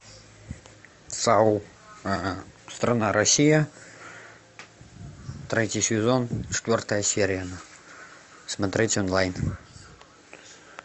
сау страна россия третий сезон четвертая серия смотреть онлайн